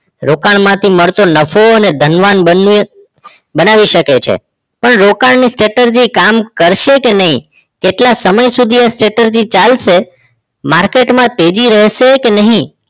રોકાણમાંથી મળતો નફો અને ધનવાન બનવું બનાવી શકે છે પણ રોકાણની strategy કામ કરશે કે નહીં કેટલા સમય સુધી એ strategy ચાલશે market માં તેજી રહેશે કે નહીં